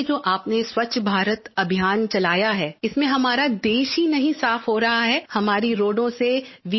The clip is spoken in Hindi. और ये जो आपने स्वच्छ भारत अभियान चलाया है इसमें हमारा देश ही नहीं साफ़ हो रहा है हमारी सड़कों से V